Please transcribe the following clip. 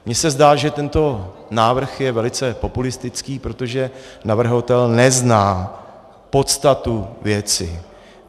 Mně se zdá, že tento návrh je velice populistický, protože navrhovatel nezná podstatu věci.